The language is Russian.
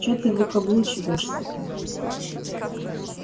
что ты выкаблучиваешься-то